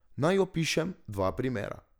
Naj opišem dva primera.